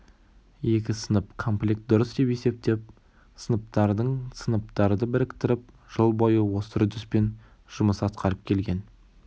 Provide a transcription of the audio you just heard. екі сынып комплект дұрыс деп есептеп сыныптардың сыныптарды біріктіріп жыл бойы осы үрдіспен жұмыс атқарып келген